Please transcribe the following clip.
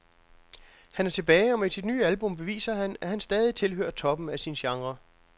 Han er tilbage, og med sit nye album beviser han, at han stadig tilhører toppen af sin genre.